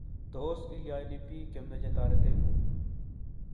tos ilionibiik chemechei toretengung